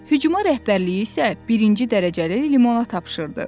Hücuma rəhbərliyi isə birinci dərəcəli Limona tapşırdı.